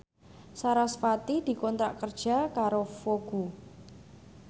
sarasvati dikontrak kerja karo Vogue